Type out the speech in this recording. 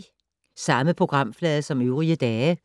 Samme programflade som øvrige dage